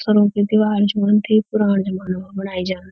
पत्थरों की दीवार च उन थे पुराण जमाणु मा बणाई जांद।